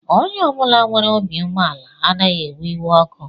Onye ọ bụla nwere obi umeala anaghị ewe iwe ọkụ